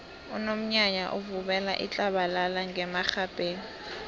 unomnyanya uvubela itlabalala ngemarhabheni